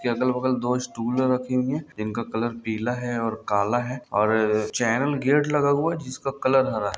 इसके अगल-बगल दो स्टूल रखी हुई है इनका कलर पीला है और काला है और चैनल गेट लगा हुआ है जिसका कलर हरा है।